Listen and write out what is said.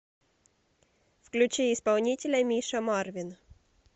включи исполнителя миша марвин